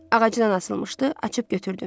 Ağacdan asılmışdı, açıb götürdüm.